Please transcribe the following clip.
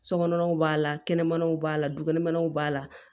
Sokɔnɔ naw b'a la kɛnɛmanaw b'a la dukɛnɛmɛnw b'a la